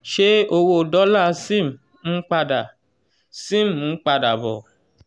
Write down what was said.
ṣé owó dọ́là zim n padà zim n padà bo?